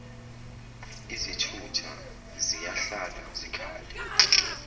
izithutha ziyahlala zikhale